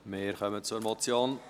Wir kommen zur Motion